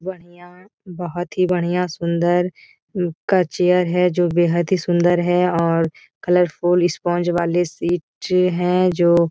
बढ़िया बहोत ही बढ़िया सुंदर का चेयर है जो बेहद ही सुंदर है और कलरफुल स्पंज वाले सीट हैं जो।